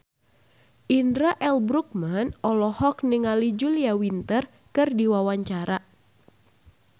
Indra L. Bruggman olohok ningali Julia Winter keur diwawancara